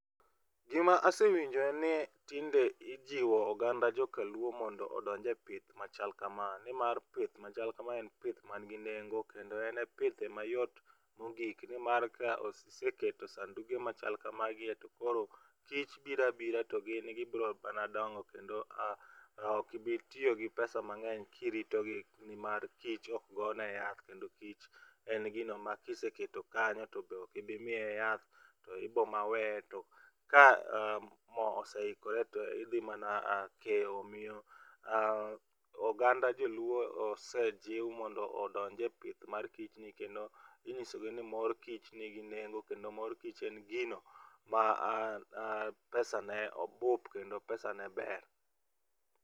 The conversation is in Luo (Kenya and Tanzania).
Gima asewinjo en ni tinde ijiwo oganda jokaluo mondo odonj epith machal kama nimar pith machal kama en pith manigi nengo kendo en e pith mayot mogik nimar ka iseketo sanduge machal kamagie to koro kich biro abira togin gibiro mana dongo to ok ibi tiyo gi pesa[c] mangeny kirito gi nimar kich ok gone yath kendo kich en gima kiseketo kanyo to ok ibi miye yath. Ibiro mana weye to ka moo oseikore ibiro mana keyo. omiyo oganda joluo osejiw mondo odonje pith mar kich ni kendo Inyisogi ni mor kich nigi nengo kendo mor kich en gino ma pesane bup kendo pesane ber.